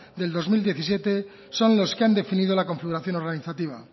del dos mil diecisiete son los que han definido la configuración organizativa